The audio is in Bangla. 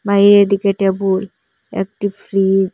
এদিকে টেবুল একটি ফ্রিজ ।